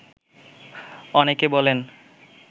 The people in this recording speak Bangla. অনেকে বলেন